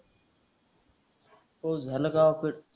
पाऊस झाला गावाकडं.